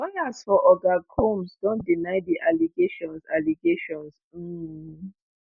lawyers for oga combs don deny di allegations. allegations. um